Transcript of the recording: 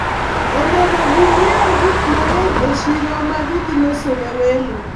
onego ginyiew gik mang'eny e siro magidhi loso ne welo